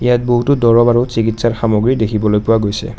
ইয়াত বহুতো দৰৱ আৰু চিকিৎসাৰ সামগ্ৰী দেখিবলৈ পোৱা গৈছে।